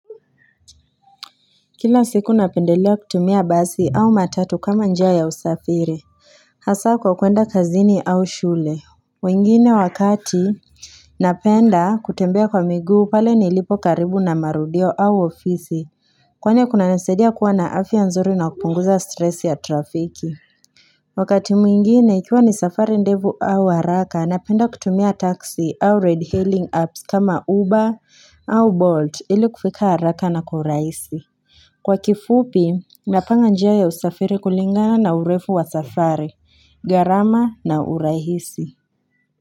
Kila siku napendelea kutumia basi au matatu kama njia usafiri. Hasa kwa kuenda kazini au shule. Wengine wakati napenda kutembea kwa miguu pale nilipo karibu na marudio au ofisi. Kwani kuna nisaidia kuwa na afya nzuri na kupunguza stress ya trafiki. Wakati mwingine ikiwa ni safari ndefu au haraka napenda kutumia taxi au redhailing apps kama uba au bolt ili kufika haraka na kwa uraisi. Kwa kifupi, napanga njia ya usafiri kulingana na urefu wa safari, garama na urahisi.